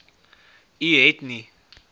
u het nie